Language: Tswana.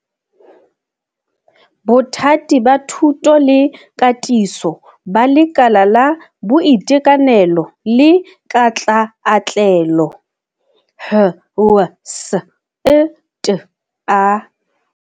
Bothati ba Thuto le Katiso ba Lekala la Boitekanelo le Katlaatlelo HWSETA.